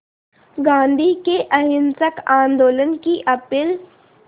गांधी के अहिंसक आंदोलन की अपील